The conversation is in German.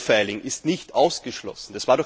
Profiling ist nicht ausgeschlossen.